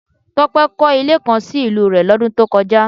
Tope kọ̀ ilé kan sì ìlú rè lodun tó kọjá